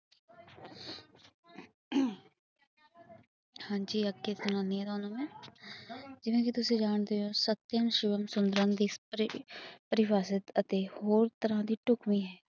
ਹਾਂ ਜੀ ਅੱਗੇ ਸੁਨਾਨੀ ਹਾਂ ਤੁਹਾਨੂੰ ਮੈ ਜਿਵੇਂ ਤੁਸੀ ਜਾਣਦੇ ਹੋ ਸਤਯਮ ਸ਼ਿਵਮ ਸੁੰਦਰਮ ਦੀ ਪਰਿਭਾਸ਼ਾ ਅੱਤੇ ਹੋਰ ਤਰਾਂ ਦੀ ਟੁਕਵੀ ਹੈ